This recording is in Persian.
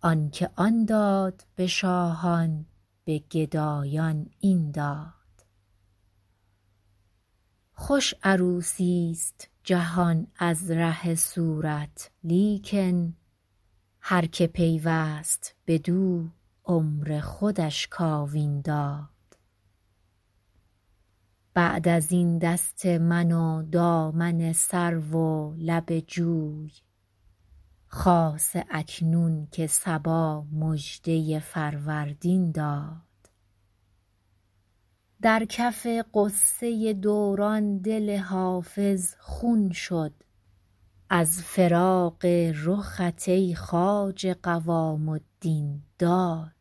آن که آن داد به شاهان به گدایان این داد خوش عروسیست جهان از ره صورت لیکن هر که پیوست بدو عمر خودش کاوین داد بعد از این دست من و دامن سرو و لب جوی خاصه اکنون که صبا مژده فروردین داد در کف غصه دوران دل حافظ خون شد از فراق رخت ای خواجه قوام الدین داد